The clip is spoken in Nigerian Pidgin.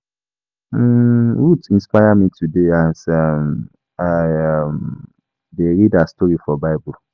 um Ruth inspire me today as um I um dey read her story for bible